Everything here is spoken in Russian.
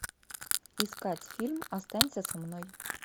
искать фильм останься со мной